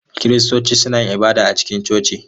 Kiristoci suna yin ibada a cikin coci.